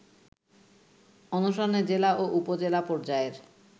অনশনে জেলা ও উপজেলা পর্যায়ের